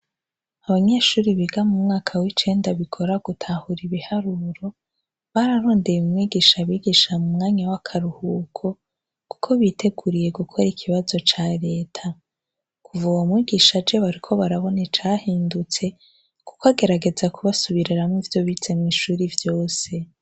Abanyeshuri biga mu mwaka w'icenda bikora gutahura ibiharuro bararondeye umwigisha abigisha mu mwanya w'akaruhuko, kuko biteguriye gukora ikibazo ca leta kuva uwo mwigisha je bariko barabona icahindutse, kuko agerageza kubasubireramwo ivyo bizemwo'ishuri vyose.